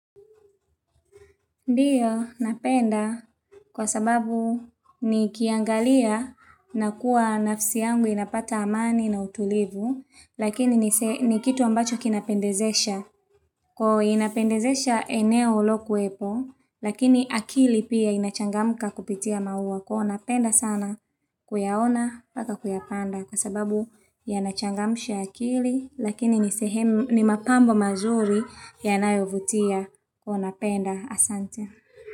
Ndiyo, napenda kwa sababu nikiangalia na kuwa nafsi yangu inapata amani na utulivu, lakini ni kitu ambacho kinapendezesha. Kwa inapendezesha eneo lo kuepo, lakini akili pia inachangamka kupitia maua. Kwa hiyo ninapenda sana kuyaona mpaka kuyapanda Kwa sababu ya nachangamusha akili Lakini ni mapambo mazuri yanayovutia kwa hiyo napenda asante.